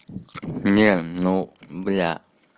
не ну бля